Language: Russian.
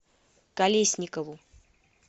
колесникову